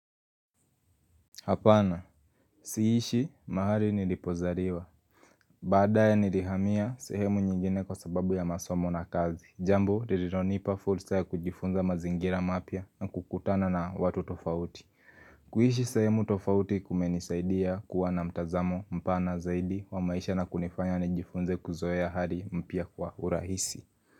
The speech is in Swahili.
Hapana, siishi mahali nilipozariwa. Baadaye nilihamia sehemu nyingine kwa sababu ya masomo na kazi. Jambo, ririronipa fulsa ya kujifunza mazingira mapya na kukutana na watu tofauti. Kuishi sehemu tofauti kumenisaidia kuwa na mtazamo mpana zaidi wa maisha na kunifanya nijifunze kuzoea hari mpya kwa urahisi.